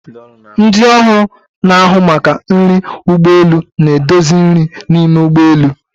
Ndị ọrụ na-ahụ maka nri ụgbọ elu na-edozi nri n'ime ụgbọ elu.